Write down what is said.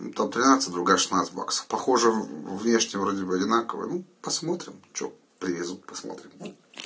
там тринадцать другая шестнадцать баксов похожи внешне вроде бы одинаковые ну посмотрим что привезут посмотрим